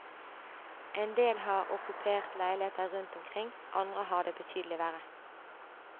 Endel har okkupert leiligheter rundt omkring, andre har det betydelig verre.